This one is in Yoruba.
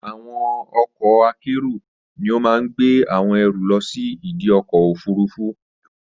Àwọn ọkọ̀ akérò ni ó máa gbé àwọn ẹrù lọ sí ìdi ọkọ̀ òfurufú.